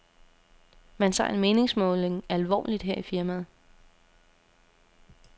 Man tager en meningsmåling alvorligt her i firmaet.